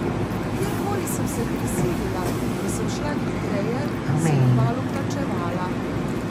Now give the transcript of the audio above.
Kjerkoli sem se prisilila, da sem šla hitreje, sem kmalu plačevala.